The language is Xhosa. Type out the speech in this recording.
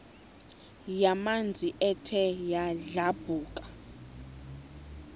yamanzi ethe yadlabhuka